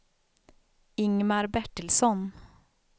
Ingmar Bertilsson